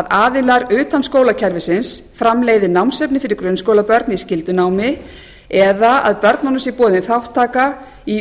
að aðilar utan skólakerfisins framleiði námsefni fyrir grunnskólabörn í skyldunámi eða að börnunum sé boðin þátttaka í